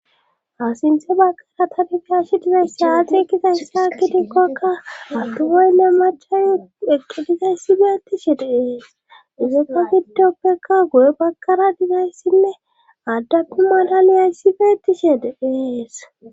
Ha sinthe baggara tabifiyashi dizesse aadikizayssaagidikkokka attu woynne machayu eqqidizayssibeetishe deees izekka giddoppeka goye baggara dizayssinne addaku mdlaliyayssi beetishe de7ees.